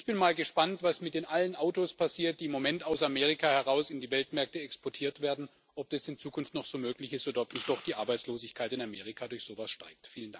Ich bin mal gespannt, was mit all den Autos passiert, die im Moment aus Amerika heraus in die Weltmärkte exportiert werden, ob das in Zukunft noch so möglich ist oder ob nicht doch die Arbeitslosigkeit in Amerika durch so etwas steigt.